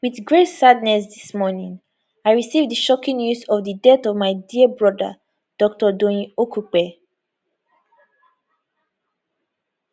wit great sadness dis morning i receive di shocking news of di death of my dear elder broda dr doyin okupe